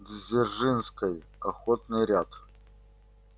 дзержинской охотный ряд